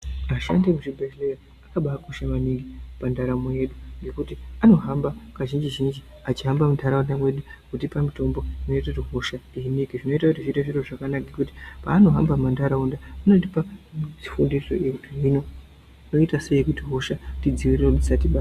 Vashandi vemuzvibhedhlera vakabaakosha maningi pandaramo yedu ngekuti anohamba kazhinji zhinji achihamba mundaraunda mwedu kutipa mitombo inoite kuti hosha zvinoita kuti zviite zviro zvakanaka ngekuti paanohamba mundaraunda mwedu vanotipa fundo yekuti toitasei kuti hosha tidzivirire musati ma.